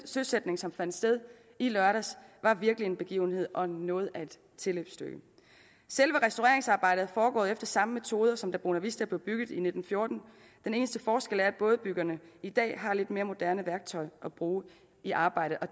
søsætning som fandt sted i lørdags var virkelig en begivenhed og noget af et tilløbsstykke selve restaureringsarbejdet er foregået efter samme metoder som da bonavista blev bygget i nitten fjorten den eneste forskel er at bådebyggerne i dag har lidt mere moderne værktøj at bruge i arbejdet og